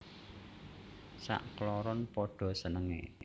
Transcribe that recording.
Sakloron padha senengé